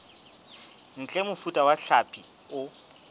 ntle mofuta wa hlapi o